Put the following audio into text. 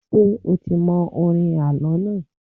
Ṣé o ti mọ orin àlọ́ náà?